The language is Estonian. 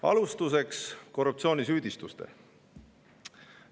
Alustuseks korruptsioonisüüdistustest.